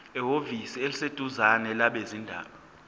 ehhovisi eliseduzane labezindaba